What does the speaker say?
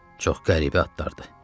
Çox qəribə adlardır.